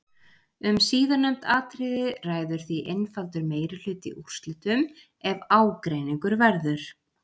Um síðarnefnd atriði ræður því einfaldur meirihluti úrslitum ef ágreiningur verður.